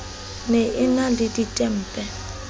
ne e na le ditempe